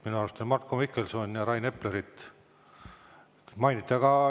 Minu arust Marko Mihkelsoni ja Rain Eplerit mainiti.